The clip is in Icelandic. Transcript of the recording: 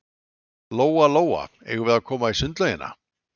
Lóa-Lóa, eigum við að koma í sundlaugina?